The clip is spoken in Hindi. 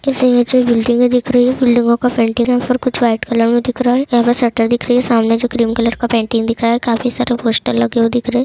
इस इमेज में बिल्डिंग दिख रही है। बिल्डिंगों का कुछ व्हाइट कलर में दिख रहा है। यहां पर शटर दिख रही है। सामने जो क्रीम कलर पेंटिंग दिखा है। काफी सारा पोस्टर लगे हुए दिख रहे हैं।